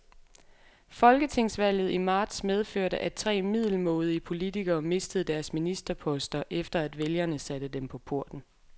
Folketingsvalget i marts medførte, at tre middelmådige politikere mistede deres ministerposter, efter at vælgerne satte dem på porten.